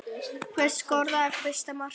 Hver skoraði fyrsta markið?